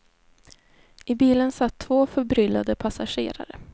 I bilen satt två förbryllade passagerare.